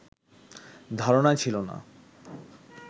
ধারণাই ছিল না